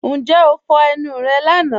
Ǹjẹ́ o fọ́ ẹnu rẹ́ lána?